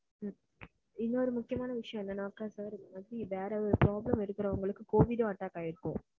இன்னொரு முக்கியமான விஷயம் என்னனாக்க sir வேற ஒரு problem இருக்குறவுங்களுக்கு covid வும் attack ஆகி இருக்கும்,